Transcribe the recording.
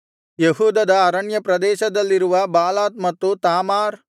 ಯೆಹೂದದ ಅರಣ್ಯಪ್ರದೇಶದಲ್ಲಿರುವ ಬಾಲಾತ್ ಮತ್ತು ತಾಮಾರ್